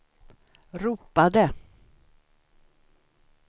ropade